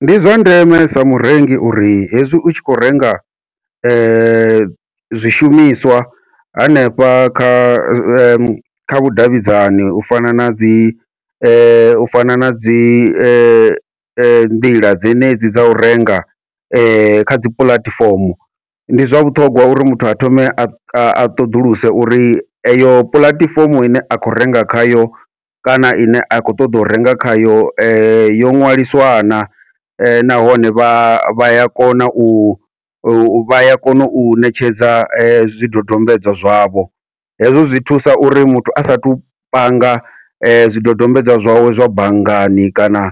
Ndi zwa ndeme sa murengi uri hezwi u tshi khou renga zwishumiswa hanefha kha vhudavhidzani u fana nadzi u fana nadzi nḓila dzenedzi dza u renga kha dzi puḽatifomo, ndi zwa vhuṱhongwa uri muthu a thome a ṱhoḓuluse uri eyo puḽatifomo ine a khou renga khayo kana ine a khou ṱoḓa u renga khayo yo ṅwaliswa na, nahone vha ya kona u u vha ya kona u ṋetshedza zwidodombedzwa zwavho. Hezwo zwi thusa uri muthu a sathu panga zwidodombedzwa zwawe zwa banngani kana